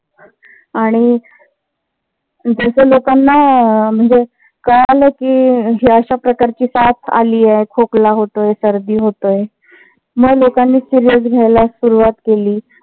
आणि जस लोकांना कळाल कि हि अशा प्रकारची साथ आलीय. खोकला होतोय सर्दी होत आहे. मग लोकांनी serious घ्यायला सुरुवात केली.